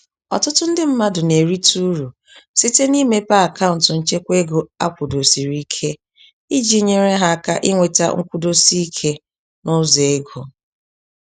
Ọtụtụ ndị mmadụ na-erite uru site n'imepe akaụntụ nchekwaego akwụdosiriike, iji nyèrè ha áká ịnweta nkwụdosike, nụzọ égo